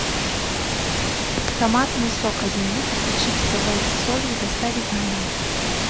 томатный сок один литр и чипсы лейс с солью доставить на дом